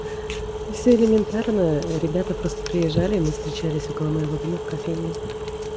элементарная ребята просто приезжали мы встречались около моего дома в кофейне